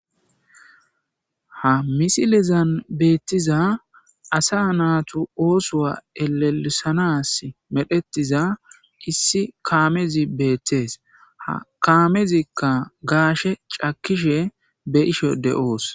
Ha misilizan beettiza asa naatu oosowa elelisanas medhetiza issi kaamezi beettees ha kaamezikka gaashe cakishe be isho de's